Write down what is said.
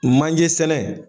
Manje sɛnɛ